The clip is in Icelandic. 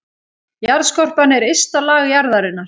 Jarðskorpan er ysta lag jarðarinnar.